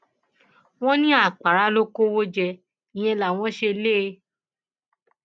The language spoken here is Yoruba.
wọn ní àpárá ló kọwọ jẹ ìyẹn làwọn ṣe lé e